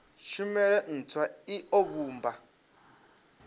tshumelo ntswa i o vhumba